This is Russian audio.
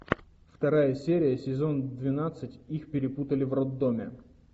вторая серия сезон двенадцать их перепутали в роддоме